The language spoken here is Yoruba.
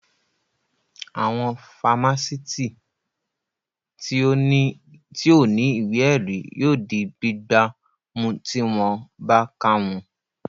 Àwọn fámásìtì tí ò ní ìwé ẹ̀rí yóò di gbígbá mú tí wọ́n bá ká wọn